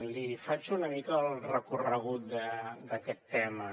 li faig una mica el recorregut d’aquest tema